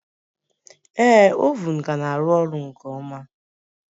Ee, oven ka na-arụ ọrụ nke ọma